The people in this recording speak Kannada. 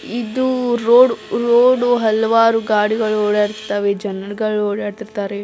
ಇದು ರೋಡು ರೋಡು ಹಲವಾರು ಗಾಡಿಗಳು ಓಡಾಡುತಿದ್ದಾವೆ ಜನಗಳು ಓಡಾಡುತಿರ್ತಾರೆ --